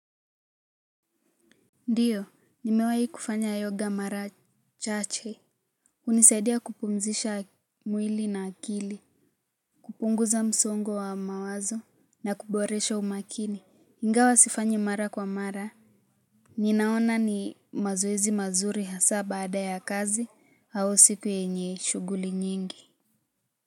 Ndiyo nimewai kufanya yoga mara chache hunisaidia kupumzisha mwili na akili kupunguza msongo wa mawazo na kuboresha umakini ingawa sifanyi mara kwa mara ninaona ni mazoezi mazuri hasa baada ya kazi au siku yenye shughuli nyingi.